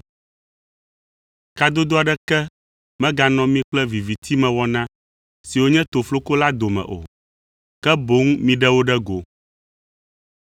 Kadodo aɖeke meganɔ mi kple vivitimewɔna siwo nye tofloko la dome o, ke boŋ miɖe wo ɖe go.